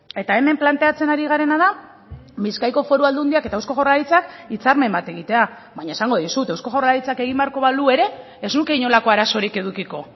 eta hemen planteatzen ari garena da bizkaiko foru aldundiak eta eusko jaurlaritzak hitzarmen bat egitea baina esango dizut eusko jaurlaritzak egin beharko balu ere ez nuke inolako arazorik edukiko